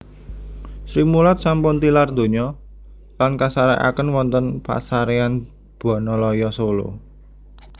Srimulat sampun tilar donya lan kasarekaken wonten pasarean Bonoloyo Solo